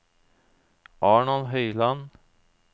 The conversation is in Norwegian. Arnold Høiland